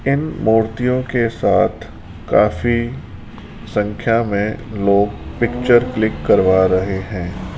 इन मूर्तियों के साथ काफी संख्या में लोग पिक्चर क्लिक करवा रहे हैं।